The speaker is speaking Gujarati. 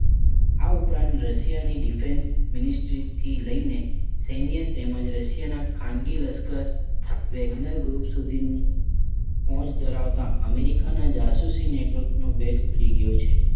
આ ઉપરાંત રશિયાની defense ministry થી લઈને સૈન્ય તેમજ રશિયાના ખાનગી લશ્કર ના group સુધીની પહોંચ ધરાવતા અમેરિકાના જાસૂસી network નો ભેદ ખુલી ગયો છે.